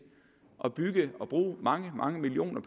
at bygge det og bruge mange mange millioner